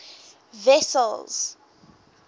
wessels